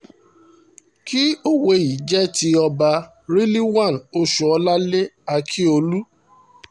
kí òwe yìí jẹ́ ti ọba rilwan oṣúọ́lálẹ̀ ákíọ́lù